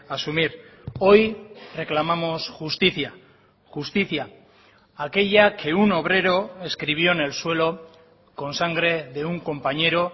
asumir hoy reclamamos justicia justicia aquella que un obrero escribió en el suelo con sangre de un compañero